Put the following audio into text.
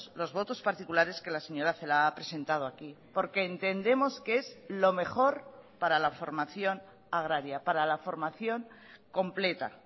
los votos particulares que la señora celaá ha presentado aquí porque entendemos que es lo mejor para la formación agraria para la formación completa